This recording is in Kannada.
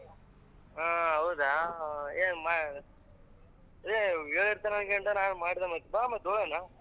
ಆಹ್ ಹೌದಾ ಹೇ ಹೇ ಹೇಳಿರ್ತಾನಾ ಅನ್ಕೊಂಡೆ, ನಾನ್ ಮಾಡ್ದೆ ಮತ್ತೆ ಬಾ ಮತ್ತ್ ಹೊಗೋಣ.